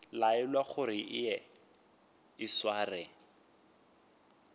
laelwa gore eya o sware